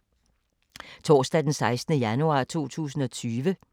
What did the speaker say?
Torsdag d. 16. januar 2020